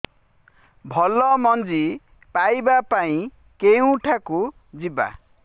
ଭଲ ମଞ୍ଜି ପାଇବା ପାଇଁ କେଉଁଠାକୁ ଯିବା